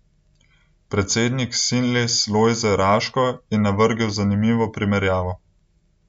Predsednik Sinles Lojze Raško je navrgel zanimivo primerjavo.